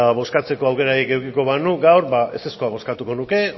bozkatzeko aukerarik edukiko banu gaur ba ezezkoa bozkatuko nuke